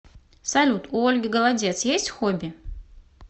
салют у ольги голодец есть хобби